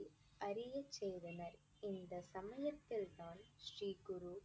அறியச் செய்தனர். இந்த சமயத்தில் தான் ஸ்ரீ குரு